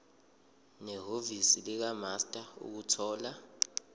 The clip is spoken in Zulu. nehhovisi likamaster ukuthola